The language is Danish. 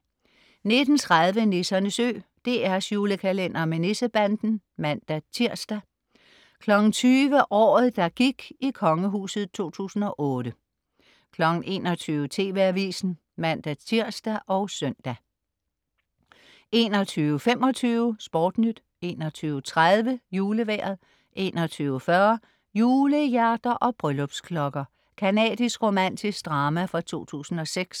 19.30 Nissernes Ø. DR's julekalender med Nissebanden (man-tirs) 20.00 Året, der gik i kongehuset 2008 21.00 TV Avisen (man-tirs og søn) 21.25 SportNyt 21.30 Julevejret 21.40 Julehjerter og bryllupsklokker. Canadisk romantisk drama fra 2006